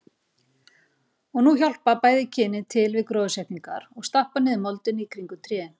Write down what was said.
Og nú hjálpa bæði kynin til við gróðursetninguna og stappa niður moldinni í kringum trén.